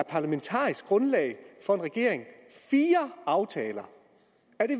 parlamentariske grundlag for en regering er fire aftaler